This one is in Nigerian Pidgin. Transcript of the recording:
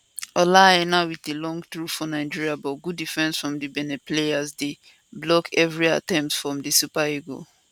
ola aina wit a long throw for nigeria but good defence from di benin players dey block evri attempt from di super eagles